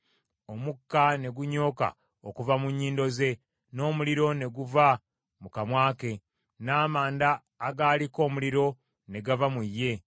Omukka ne gunyooka okuva mu nnyindo ze, n’omuliro ne guva mu kamwa ke, n’amanda agaaliko omuliro ne gava mu ye.